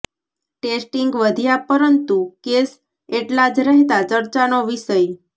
testing વધ્યા પરંતુ case એટલા જ રહેતા ચર્ચાનો વિષય